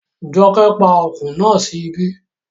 Jọkẹ́ pa ọkùn náà sí ibí